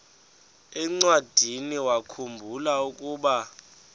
encwadiniwakhu mbula ukuba